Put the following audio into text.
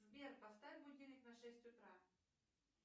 сбер поставь будильник на шесть утра